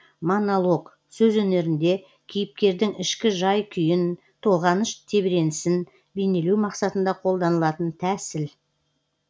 монолог сөз өнерінде кейіпкердің ішкі жай күйін толғаныш тебіренісін бейнелеу мақсатында қолданылатын тәсіл